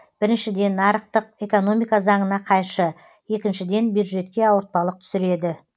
біріншіден нарықтық экономика заңына қайшы екіншіден бюджетке ауыртпалық түсіреді